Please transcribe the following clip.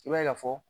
I b'a ye ka fɔ